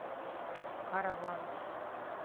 караванг